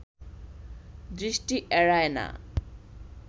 দৃষ্টি এড়ায় না